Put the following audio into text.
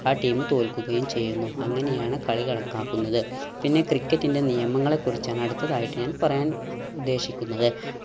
ആ team തോൽക്കുകയും ചെയ്യുന്നു അങ്ങനെയാണ് കളി കണക്കാക്കുന്നത്. പിന്നെ ക്രിക്കറ്റിൻറെ നിയമങ്ങളെ കുറിച്ചാണ് അടുത്തതായിട്ട് ഞാൻ പറയാൻ ഉദ്ദേശിക്കുന്നത്.